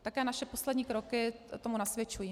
Také naše poslední kroky tomu nasvědčují.